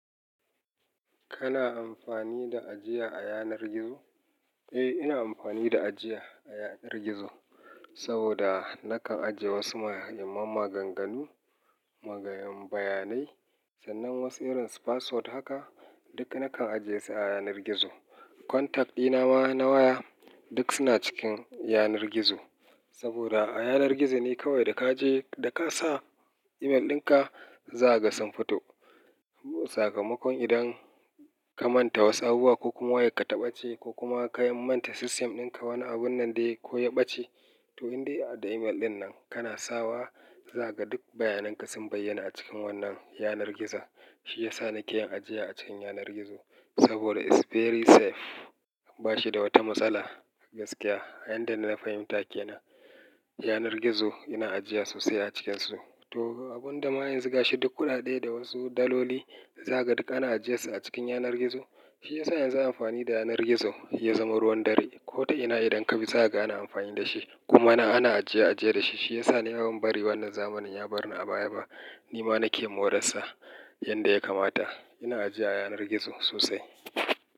Kana amfani da ajiya a yanar gizo? Eh, ina amfani da ajiya a yanar gizo. Saboda nakan ajiye wasu maganganu, magayan bayanai sannan wasu irin su password haka duk nakan ajiye su a yanar gizo. Contact dina ma na waya duk suna cikin yanar gizo. Saboda a yanar gizo ne kawai da ka je da ka sa email ɗinka za ka ga sun fito. Sakamakon idan ka manta wasu abubuwa ko kuma wayarka taɓace ko kuma ka manta system ɗinka wani abun nan dai ko ya ɓace to in dai a da email ɗin nan kana sawa za ka ga duk bayanan ka sun bayyana a cikin wannan yanar gizo. Shi ya sa nike yin ajiya a cikin yanar gizo. Saboda is very safe bashi da wata matsala gaskiya. A yanda na fahimta kenan yanar gizo ina ajiya sosai a cikinsu. To abun da ma yanzu gashiduk kuɗaɗe da wasu daloli zakaga duk ana ajiyensu a cikin yanar gizo. Shi ya sa yanzu amfani da yanar gizo ya zama ruwan dare. Kota ina idan ka bi za ka ga ana amfani da shi kuma ana ajiye ajiye da shi. Shi ya sa ni bazan bari wannan zamanin ya bar ni a baya ba. Ni ma nake moransa yanda ya kamata. Ina ajiya a yanar gizo sosai.